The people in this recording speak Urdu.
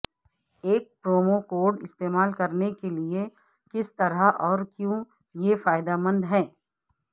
ایک پرومو کوڈ استعمال کرنے کے لئے کس طرح اور کیوں یہ فائدہ مند ہے